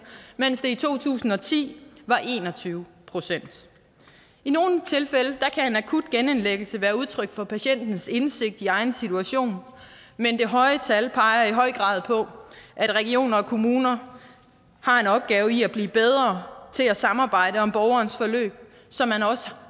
mens det i to tusind og ti var en og tyve procent i nogle tilfælde kan en akut genindlæggelse være udtryk for patientens indsigt i egen situation men det høje tal peger i høj grad på at regioner og kommuner har en opgave i at blive bedre til at samarbejde om borgerens forløb så man også